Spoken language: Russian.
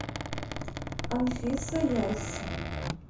анфиса ясси